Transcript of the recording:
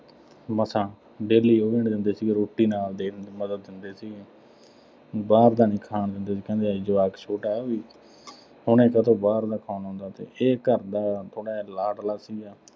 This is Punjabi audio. ਮਸਾਂ daily ਦਿੰਦੇ ਸੀ, ਰੋਟੀ ਨਾਲ ਦੇ ਮਤਲਬ ਦਿੰਦੇ ਸੀ ਬਾਹਰ ਦਾ ਨਹੀਂ ਖਾਣ ਦਿੰਦੇ ਸੀ, ਕਹਿੰਦੇ ਹਜੇ ਜਵਾਕ ਛੋਟਾ, ਹੁਣੇ ਤੇ ਤੋਂ ਤਾਂ ਬਾਹਰ ਦਾ ਖਾਣ ਆਉਂਦਾ ਸੀ। ਇਹ ਘਰ ਦਾ ਥੋੜ੍ਹਾ ਜਿਹਾ ਲਾਡਲਾ ਸੀ।